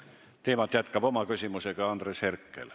Teemat jätkab oma küsimusega Andres Herkel.